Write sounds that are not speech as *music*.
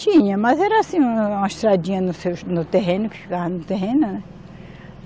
Tinha, mas era assim, uma estradinha no *unintelligible* no terreno, que ficava no terreno, né.